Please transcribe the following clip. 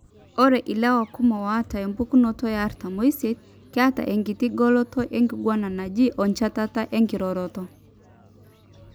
Ore ilewa kumok oata empukunoto eartam oisiet, XXYY keeta enkiti goloto enkiguana naje oenchetata enkiroroto.